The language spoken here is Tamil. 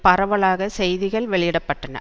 பரவலாக செய்திகள் வெளியிட பட்டன